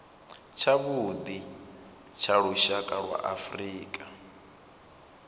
tshavhuḓi tsha lushaka lwa afrika